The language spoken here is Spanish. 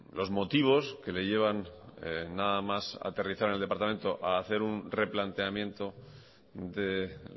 los motivos que le llevan nada más aterrizar en el departamento a hacer una replanteamiento de